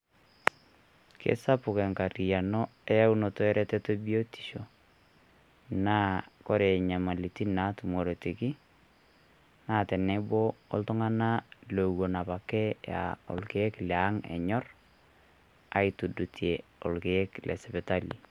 Kesapuk enkarriano eyaunoto ereteto e biotisho naa kore nyamalitin naatumoreti naa teneboo oltung'ana lewuen apake aa olkiek le ang' anyorr aitudutie olkiek le sipitali.